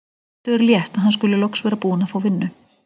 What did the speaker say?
Eddu er létt að hann skuli loks vera búinn að fá vinnu.